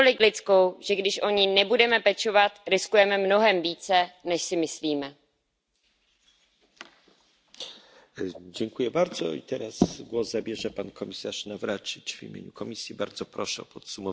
Slavný český herec Jan Werich kdysi prohlásil Já myslím, že civilizace není dobrá, když je bez kultury. Člověk potřebuje ke štěstí a spokojenosti nejenom pohodlí tělesné, ale i duševní. Kultura a civilizace musí jít ruku v ruce.